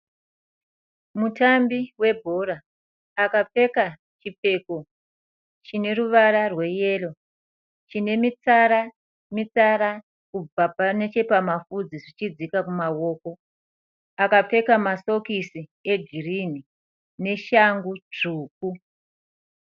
Mutambi webhora. Akapfeka chipfeko chine ruvara rweyero chine mitsara mitsara kubva muhuro zvichidzika kumaoko. Akapfeka masokisi egirinhi neshangu tsvuku.